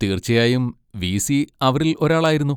തീർച്ചയായും വി.സി. അവരിൽ ഒരാളായിരുന്നു.